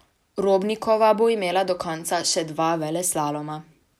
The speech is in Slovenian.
Robnikova bo imela do konca še dva veleslaloma.